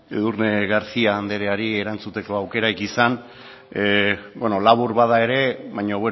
edurne garcía andreari erantzuteko aukerarik izan labur bada ere baina